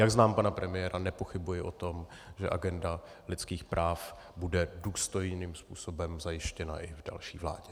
Jak znám pana premiéra, nepochybuji o tom, že agenda lidských práv bude důstojným způsobem zajištěna i v další vládě.